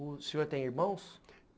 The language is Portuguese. O senhor tem irmãos?